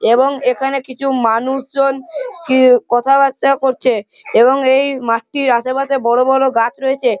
এবং এখানে কিছু মানুষজন কি কথাবার্তা করছে এবং এই মাঠটির আশেপাশে বড় বড় গাছ রয়েছে।